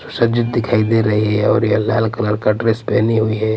सजीद दिखाई दे रही है और ये लाल कलर का ड्रेस पहनी हुई है.